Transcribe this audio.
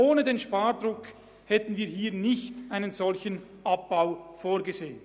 Ohne den Spardruck hätten wir hier keinen solchen Abbau vorgesehen.